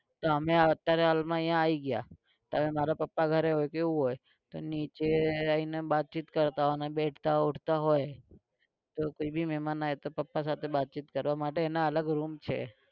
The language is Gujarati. તો અમે અત્યારે હાલમાં અહિયાં આવી ગયા તો હવે મારા પપ્પા ઘરે હોય કે એવું હોય તો નીચે આવીને વાત ચિત કરતાં હોવ ને બેઠતા ઉઠતાં હોય તો કોઈ ભી મેમાન હોય તો પપ્પા સાથે બાતચીત કરવા માટે એના અલગ room છે